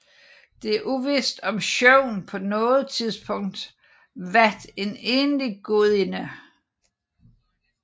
Det er uvidst om Sjøvn på noget tidspunkt vat en egentlig gudinde